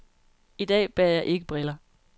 I dag bærer jeg ikke briller.